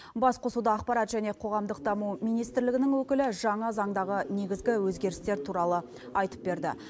басқосуда ақпарат және қоғамдық даму министрлігінің өкілі жаңа заңдағы негізгі өзгерістер туралы айтып берді